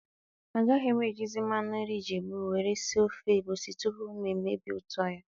A gaghị m ejizi mmanụ nri ijebu were sie ofe egwusi tupu ma emebie ụtọ ya